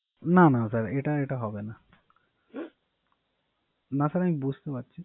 না না স্যার এটা এটা হবে না না স্যার আমি বুঝতে পারছি